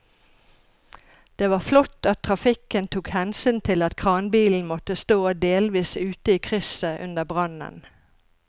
Det var flott at trafikken tok hensyn til at kranbilen måtte stå delvis ute i krysset under brannen.